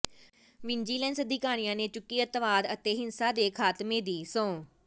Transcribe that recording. vigilance ਅਧਿਕਾਰੀਆਂ ਨੇ ਚੁੱਕੀ ਅੱਤਵਾਦ ਅਤੇ ਹਿੰਸਾ ਦੇ ਖਾਤਮੇ ਦੀ ਸਹੁੰ